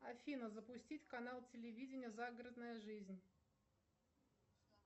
афина запустить канал телевидения загородная жизнь